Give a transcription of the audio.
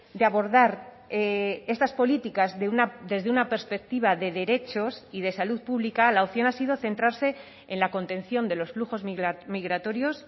de abordar estas políticas desde una perspectiva de derechos y de salud pública la opción ha sido centrarse en la contención de los flujos migratorios